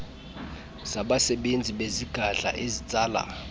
zabasebenzi bezigadla ezitsala